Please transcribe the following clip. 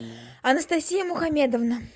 анастасия мухамедовна